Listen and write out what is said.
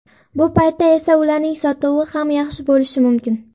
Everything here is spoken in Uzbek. Bu paytda esa ularning sotuvi ham yaxshi bo‘lishi mumkin.